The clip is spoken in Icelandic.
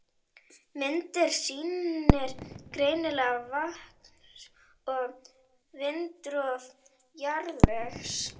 Myndin sýnir greinilega vatns- og vindrof jarðvegs.